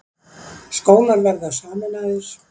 Skólar verða sameinaðir